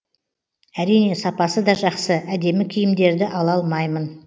әрине сапасы да жақсы әдемі киімдерді ала алмаймын